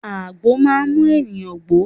Àgbo máa mú ènìyàn gbó.